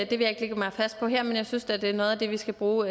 vil jeg ikke lægge mig fast på her men jeg synes da det er noget af det vi skal bruge